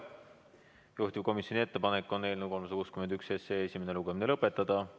Juhtivkomisjoni ettepanek on eelnõu 361 esimene lugemine lõpetada.